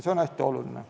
See on hästi oluline.